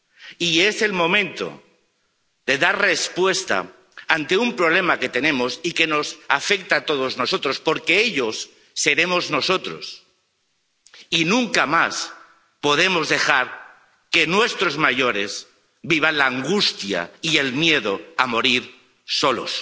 Y es el momento de dar respuesta a un problema que tenemos y que nos afecta a todos nosotros, porque ellos seremos nosotros, y nunca más podemos dejar que nuestros mayores vivan la angustia y el miedo a morir solos,